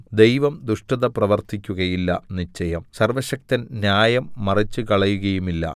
ദൈവം ദുഷ്ടത പ്രവർത്തിക്കുകയില്ല നിശ്ചയം സർവ്വശക്തൻ ന്യായം മറിച്ചുകളയുകയുമില്ല